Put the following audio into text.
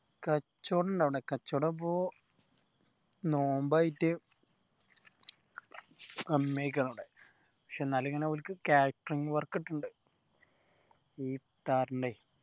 കച്ചോടം ഇണ്ട് അവിടെ കച്ചോടം ഇപ്പൊ നോമ്പ് ആയിട്ട് സമ്മയ്ക്കണം അവിടെ പക്ഷെ എന്നാലും ഇങ്ങനെ ഓൽക്ക് catering work കിട്ടണ്ട് ഈ ഇഫ്താറിന്റെ